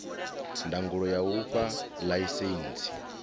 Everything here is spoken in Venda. ndangulo ya u fha ḽaisentsi